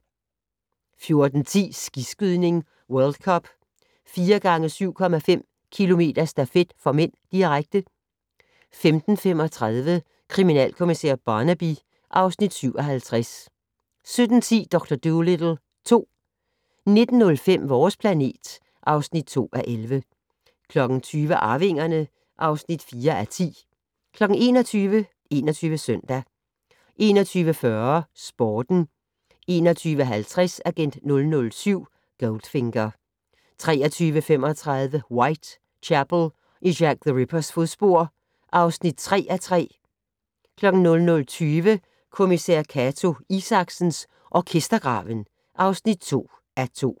14:10: Skiskydning: World Cup - 4 x 7,5 km stafet (m), direkte 15:35: Kriminalkommissær Barnaby (Afs. 57) 17:10: Dr. Dolittle 2 19:05: Vores planet (2:11) 20:00: Arvingerne (4:10) 21:00: 21 Søndag 21:40: Sporten 21:50: Agent 007 - Goldfinger 23:35: Whitechapel: I Jack the Rippers fodspor (3:3) 00:20: Kommissær Cato Isaksen: Orkestergraven (2:2)